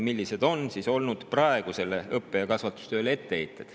Millised on olnud etteheited praegusele õppe‑ ja kasvatustööle?